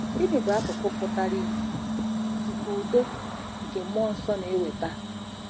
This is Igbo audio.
Gịnị bụ akụkụ pụtara ìhè nke udo nke mmụọ nsọ na-eweta?